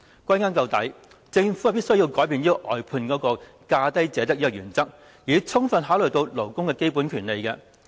歸根究底，政府必須改變外判"價低者得"的原則，充分考慮勞工的基本權利。